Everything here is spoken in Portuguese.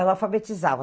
Ela alfabetizava.